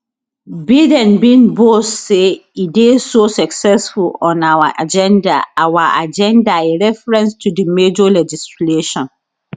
biden bin boast say e dey so successful on our agenda our agenda a reference to di major legislation